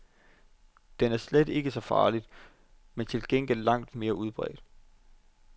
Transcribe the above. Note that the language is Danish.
Den er ikke slet så farlig, men til gengæld langt mere udbredt.